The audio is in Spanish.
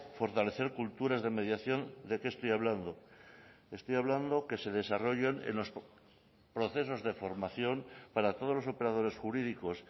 fortalecer culturas de mediación de qué estoy hablando estoy hablando que se desarrollen en los procesos de formación para todos los operadores jurídicos